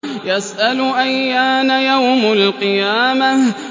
يَسْأَلُ أَيَّانَ يَوْمُ الْقِيَامَةِ